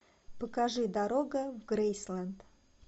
покажи дорога в грейсленд